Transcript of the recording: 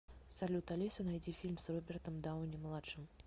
салют алиса найди фильм с робертом дауни младшим